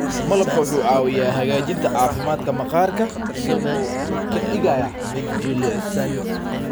Malabka wuxuu caawiyaa hagaajinta caafimaadka maqaarka isagoo ka dhigaya mid jilicsan.